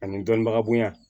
Ani dɔnnibaga bonya